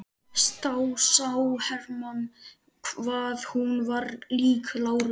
Þá sá Hermann hvað hún var lík láru.